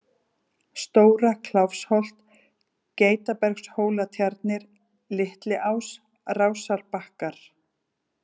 Stóra-Kláfsholt, Geitabergshólatjarnir, Litliás, Rásarbakkar